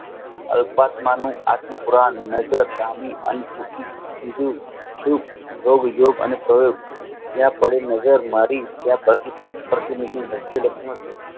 અલ્પ્ત નામનું આત્મ પૂરાં નજર હોગ યોગ અને પ્રયોગ જ્યાં કાળે નજર મારી ત્યાં